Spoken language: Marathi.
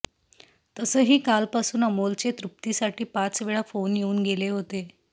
तसही कालपासुन अमोलचे तृप्तीसाठी पाचवेळा फ़ोन येउन गेले होते